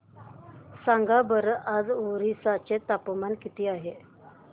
सांगा बरं आज ओरिसा चे तापमान किती आहे